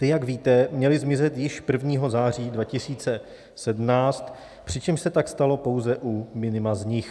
Ty, jak víte, měly zmizet již 1. září 2017, přičemž se tak stalo pouze u minima z nich.